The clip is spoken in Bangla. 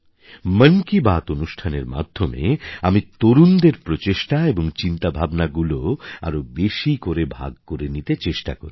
মন কি বাত অনুষ্ঠানের মাধ্যমে আমি তরুণদের প্রচেষ্টা এবং চিন্তাভাবনাগুলো আরও বেশি করে ভাগ করে নিতে চেষ্টা করি